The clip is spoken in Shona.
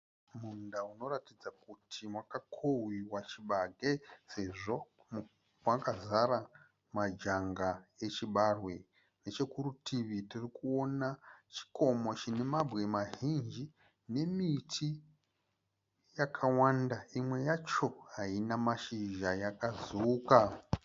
Munda unoratidza kuti wakakohwiwa chibage sezvo makazara majanga echibarwe. Nechokurutivi tirikuona chikomo chine mabwe mazhinji nemiti yakawanda imwe yacho haina mashizha yakazuka.